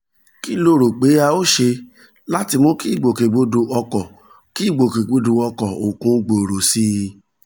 kí lo rò pé a óò ṣe láti mú kí ìgbòkègbodò ọkọ̀ kí ìgbòkègbodò ọkọ̀ òkun gbòòrò sí i